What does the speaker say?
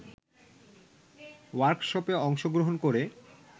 ওয়ার্কশপে অংশগ্রহণ করে